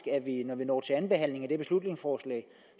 at vi når vi når til anden behandling af det her beslutningsforslag